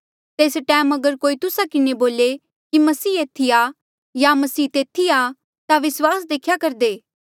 तेस टैम अगर कोई तुस्सा किन्हें बोले कि मसीह एथी आ या मसीह तेथी आ ता विस्वास देख्या करदे